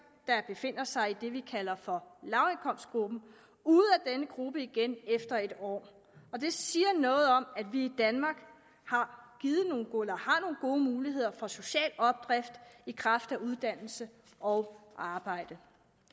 der befinder sig i det vi kalder for lavindkomstgruppen ude af den gruppe igen efter et år og det siger noget om at vi i danmark har nogle gode muligheder for social opdrift i kraft af uddannelse og arbejde